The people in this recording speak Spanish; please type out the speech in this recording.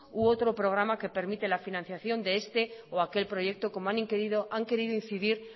u otro programa que permite la financiación de este o aquel proyecto como han querido incidir